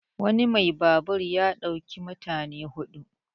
wani mai babur ya ɗauki mutane hudu